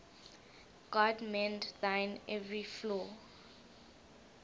god mend thine every flaw